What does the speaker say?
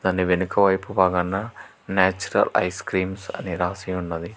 దాని వెనుక వైపు భాగాన నాచురల్ ఐస్ క్రీమ్స్ అని రాసి ఉన్నది.